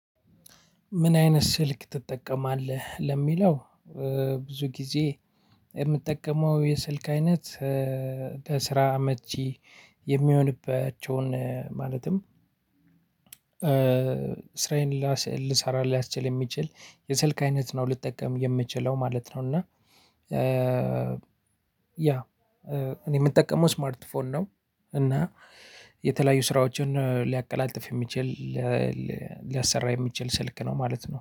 ምን አይነት ስልክ ትጠቀማለህ ለሚለው ብዙ ጊዜ የምጠቀመው የስልክ አይነት ለስራ አመቺ የሚሆንባቸውን ማለትም ስራየን ልሰራ ሊያስችል የሚችል የስልክ አይነት ነው ልጠቀም የምችለው ማለት ነው። እና ያ እኔ የምጠቀመው ስማርት ፎን ነው። እና የተለያዩ ስራዎችን ሊያቀላጥፍ የሚችል፣ ሊያሰራ የሚችል ስልክ ነው ማለት ነው።